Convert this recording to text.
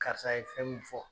Karisa ye fɛn min fɔ